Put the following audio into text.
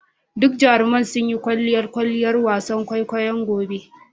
Duk jaruman suna yin kwalliyar kwalliyar wasan kwaikwayo gobe.